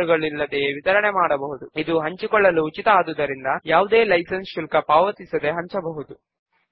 లైబ్రరీలో ఉన్న అందరు సభ్యులను లిస్ట్ చేస్తూ ఒక ఫామ్